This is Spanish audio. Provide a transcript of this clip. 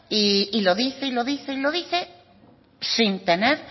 y lo dice y lo dice y lo dice sin tener